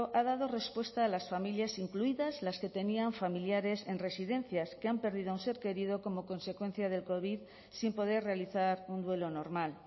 ha dado respuesta a las familias incluidas las que tenían familiares en residencias que han perdido a un ser querido como consecuencia del covid sin poder realizar un duelo normal